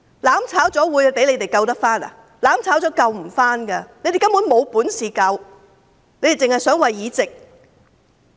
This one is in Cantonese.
"攬炒"後，事情是無法挽回的，他們根本沒有本事，只是想着議席。